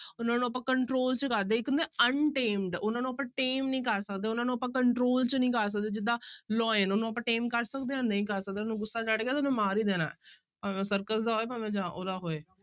ਉਹਨਾਂ ਨੂੰ ਆਪਾਂ control 'ਚ ਕਰਦੇ ਹਾਂ ਇੱਕ ਹੁੰਦੇ untamed ਉਹਨਾਂ ਨੂੰ ਆਪਾਂ tame ਨੀ ਕਰ ਸਕਦੇ, ਉਹਨਾਂ ਨੂੰ ਆਪਾਂ control 'ਚ ਨੀ ਕਰ ਸਕਦੇ ਜਿੱਦਾਂ lion ਉਹਨੂੰ ਆਪਾਂ tame ਕਰ ਸਕਦੇ ਹਾਂ ਨਹੀਂ ਕਰ ਸਕਦੇ, ਉਹਨੂੰ ਗੁੱਸਾ ਚੜ੍ਹ ਗਿਆ ਨਾ, ਤੇ ਮਾਰ ਹੀ ਦੇਣਾ ਭਾਵੇਂ ਸਰਕਸ ਦਾ ਹੋਏ ਭਾਵੇਂ ਜਾਂ ਉਹਦਾ ਹੋਏ।